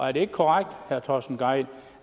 er det ikke korrekt herre torsten gejl